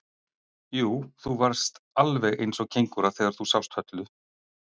Jú, þú varðst alveg eins og kengúra þegar þú sást Höllu.